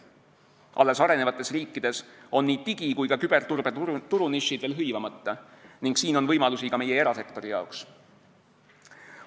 Alles arenevates riikides on nii digi- kui ka küberturbe turunišid veel hõivamata ning siin on võimalusi ka meie erasektori jaoks.